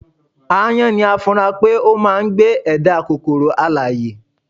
aáyán ni a fura pé ó máà ń gbé ẹ̀dá kòkoro alààyè